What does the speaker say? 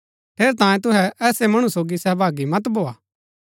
ठेरैतांये तुहै ऐसै मणु सोगी सहभागी मत भोआ